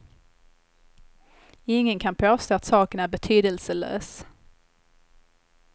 Ingen kan påstå att saken är betydelselös.